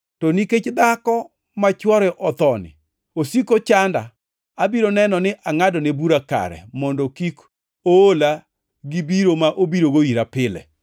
to nikech dhako ma chwore othoni osiko chanda, abiro neno ni angʼadone bura kare, mondo kik oola gibiro ma obirogo ira pile!’ ”